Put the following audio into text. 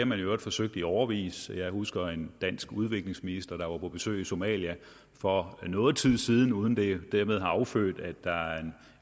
man i øvrigt forsøgt i årevis jeg husker en dansk udviklingsminister der var på besøg i somalia for noget tid siden uden at det dermed har affødt at der er en